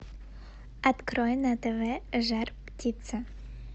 открой на тв жар птица